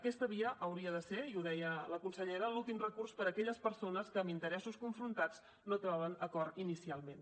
aquesta via hauria de ser i ho deia la consellera l’últim recurs per a aquelles persones que amb interessos confrontats no troben acord inicialment